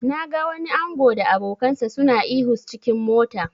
Na ga wani ango da abokansa suna ihu s cikin mota.